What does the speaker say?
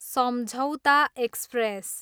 सम्झौता एक्सप्रेस